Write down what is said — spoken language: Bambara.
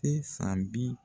E san bi